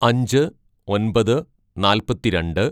അഞ്ച് ഒന്‍പത് നാൽപ്പത്തി രണ്ട്‌